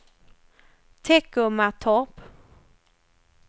Teckomatorp